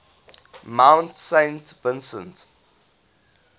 mount saint vincent